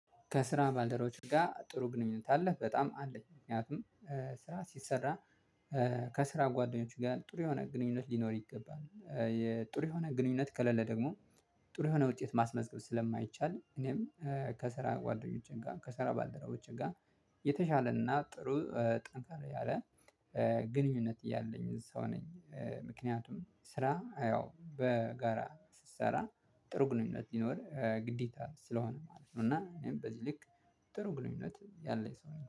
ከስራ ባልደረቦች ጋር ጥሩ ግንኙነት አለህ? በጣም አለኝ ምክንያቱም ስራ ሲሰራ። ከስራ ጓደኞች ጋር ጥሩ የሆነ ግንኙነት ሊኖር ይገባል የጥሩ የሆነ ግንኙነት ከለለ ደግሞ ጥሩ የሆነ ውጤት ማስመዝገብ ስለማይቻል። እኔም ከስራ ጓደኞቼን ጋር ከስራ ባልደረቦቼን ጋር የተሻለና ጥሩ ጠንካራ ያለ ግንኙነት ያለኝ ሰው ነኝ። ምክንያቱም ስራ ያው በጋራ ስትሰራ ጥሩ ግልኝነት ይኖር ግዴታ ስለሆነ ማለት ነው። እና እኔም በዚህ ልክ ጥሩ ግንኙነት ሰው ነኝ